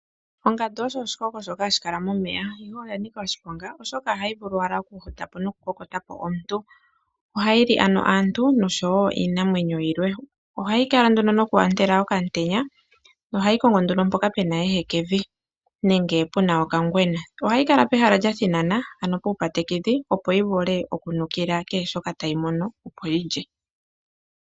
Ongandu osho oshikoko shoka hashi kala momeya ihe oya nika oshiponga oshoka ohayi vulu owala okuhutapo noku kokota po omuntu ohayi li ano aantu oshowo iinamwenyo yilwe ohayi kala nduno nokwaandela okamutenya, ohayi kongo nduno mpoka puna ehekevi nenge puna okangwena, ohayi kala pehala lya thinana ano puukatekedhi opo yi vule okunukila kehe shoka tayi mono opo yi lye.